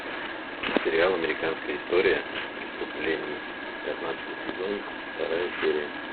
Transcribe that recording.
сериал американская история преступлений пятнадцатый сезон вторая серия